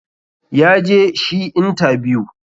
ya je shi intabiyu.